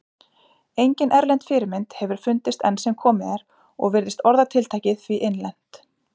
Engin erlend fyrirmynd hefur fundist enn sem komið er og virðist orðatiltækið því innlent.